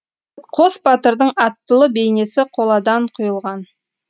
қос батырдың аттылы бейнесі қоладан құйылған